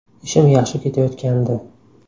Ishim yaxshi ketayotgandi.